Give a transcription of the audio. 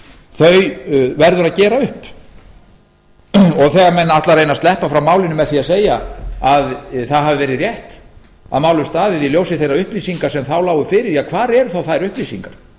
írak verður að gera upp og þegar menn ætla að reyna að sleppa frá málinu með því að segja að það hafi verið rétt að málum staðið í ljósi þeirra upplýsinga sem þá lágu fyrir ja hvar eru þá þær upplýsingar